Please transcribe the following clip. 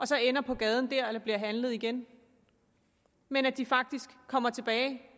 så ender på gaden dér eller bliver handlet igen men at de faktisk kommer tilbage